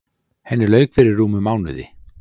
Henni lauk fyrir rúmum mánuði.